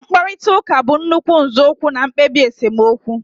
Mkparịta ụka bụ nnukwu nzọụkwụ na mkpebi esemokwu